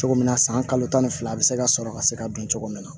Cogo min na san kalo tan ni fila bɛ se ka sɔrɔ ka se ka dun cogo min na